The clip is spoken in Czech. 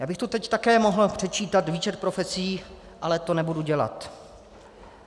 Já bych tu teď také mohl předčítat výčet profesí, ale to nebudu dělat.